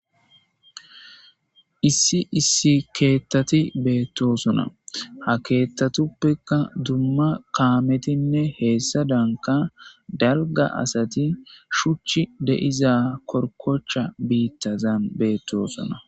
issi issi keettati beettosona ha keettatuppekka dumma kaametinne heessa danka dalga asati shuchi deiza korkocha biittazan beettosona